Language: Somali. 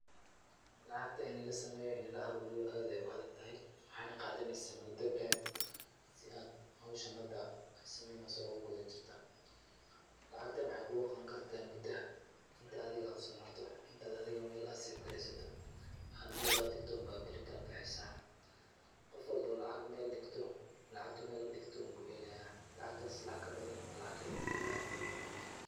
Lacagta in la sameeyo, in la aruuriyo aad ayay u adagtahay. Waxayna qaadanaysaa mudo aad u dheer si aad howshan ahad ay samaynayso ugu gudajirta. Lacagtan waxay kuu qaban kartaa muda inta aad u samirto, inta adiga meel aad sefgraysato. Waxaa aad meel aad dhigto baa beri kala baxaysa. Qof walbo oo lacag meel dhigto, lacagtu meel dhigti inbuu heleyaa. Lacagtaas lacag kabadan ama lacag ka yer mahelaayo.